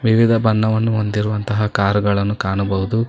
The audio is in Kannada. ವಿವಿಧ ಬಣ್ಣವನ್ನು ಹೊಂದಿರುವಂತಹ ಕಾರುಗಳನ್ನು ಕಾಣಬಹುದು.